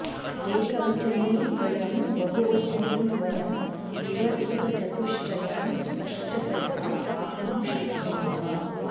एकवचने द्वयं बहुवचने द्वयम् इव रूपचतुष्टयं स्पष्टतया प्राप्तुं शक्नुमः